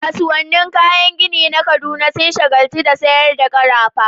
Kasuwannin kayan gini na Kaduna sun shagaltu da sayar da karafa